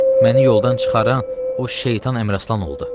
Məni yoldan çıxaran o şeytan Əmraslan oldu.